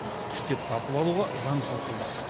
күштеп тартып алуға заң солқылдақ